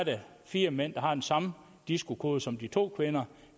fire mænd der har den samme disco kode som de to kvinder